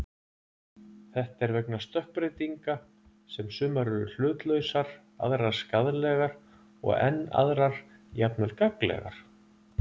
Þetta er vegna stökkbreytinga sem sumar eru hlutlausar, aðrar skaðlegar og enn aðrar jafnvel gagnlegar.